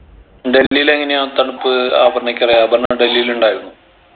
ഡൽഹിലെങ്ങനെയാ തണുപ്പ് അപർണക്കറിയ അപർണ ഡൽഹിൽ ഉണ്ടായിരുന്നോ